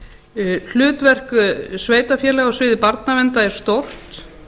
sveitarfélaganna hlutverk sveitarfélaga á sviði barnaverndar er stórt